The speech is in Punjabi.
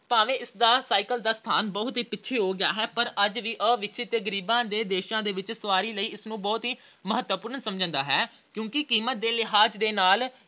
ਭਾਵੇਂ ਇਸ ਦਾ cycle ਦਾ ਸਥਾਨ ਬਹੁਤ ਹੀ ਪਿੱਛੇੇ ਹੋ ਗਿਆ ਹੈ ਪਰ ਅੱਜ ਵੀ ਅਵਿਕਸਿਤ ਤੇ ਗਰੀਬਾਂ ਦੇ ਦੇਸ਼ਾਂ ਵਿੱਚ ਸਵਾਰੀ ਲਈ ਇਸ ਨੂੰ ਬਹੁਤ ਹੀ ਮਹੱਤਵਪੂਰਨ ਸਮਝਿਆ ਜਾਂਦਾ ਹੈ ਕਿਉਂਕਿ ਕੀਮਤ ਦੇ ਲਿਹਾਜ ਨਾਲ